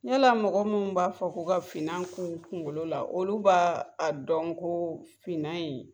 Yala mɔgɔ mun b'a fɔ k'o ka finna k'u kungolo la olu b'a a dɔn ko finna in